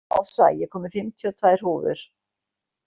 Ása, ég kom með fimmtíu og tvær húfur!